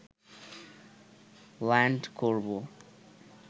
land করব